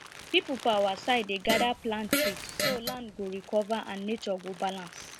people for our side dey gather plant tree so land go recover and nature go balance